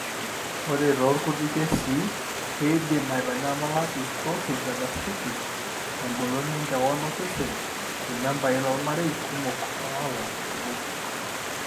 ore toorkuti kesii, keidim aitanyamala eatrophic egastiritis engolon enkewon osesen irmembai lormarei kumok oolang' obo.